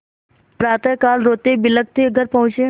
प्रातःकाल रोतेबिलखते घर पहुँचे